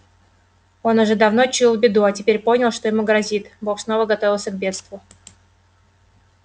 он уже давно чуял беду а теперь понял что ему грозит бог снова готовился к бегству